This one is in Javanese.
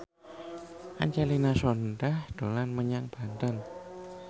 Angelina Sondakh dolan menyang Banten